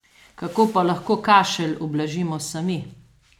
Kako pa lahko kašelj ublažimo sami?